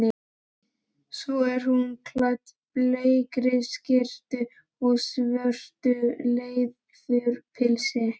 Svo er hún klædd bleikri skyrtu og svörtu leðurpilsi.